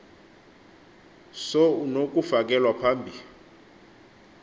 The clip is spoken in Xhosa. so unokufakelwa phambi